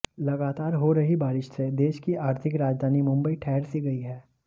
लगातार हो रही बारिश से देश की आर्थिक राजधानी मुंबई ठहर सी गई है